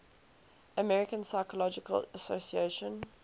american psychological association